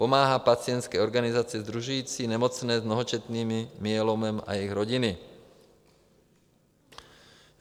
Pomáhá pacientské organizaci sdružující nemocné s mnohočetným myelomem a jejich rodiny.